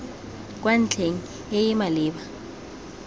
kwa ntlheng e e maleba